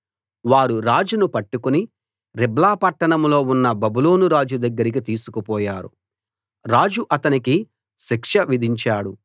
వారు రాజును పట్టుకుని రిబ్లా పట్టణంలో ఉన్న బబులోను రాజు దగ్గరికి తీసుకుపోయారు రాజు అతనికి శిక్ష విధించాడు